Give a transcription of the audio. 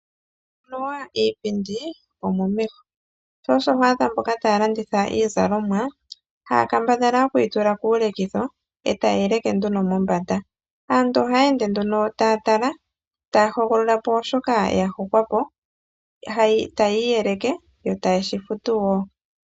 Anuwa iipindi omomeho. Sho osho ho adha mboka taya landitha iizalomwa haya kambadhala okuyi tula kuulekitho etaye yi leke nduno mombanda. Aantu ohaya ende nduno taya tala taya hogolola po shoka ya hokwa po taya iyeleke yo etaye shi futu wo.